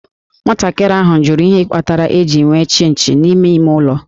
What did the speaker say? Nwatakịrị nwanyị ahụ jụrụ ihe kpatara e ji enwe Chịnchị n'ime ime ụlọ